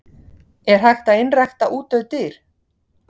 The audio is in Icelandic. Er hægt að einrækta útdauð dýr?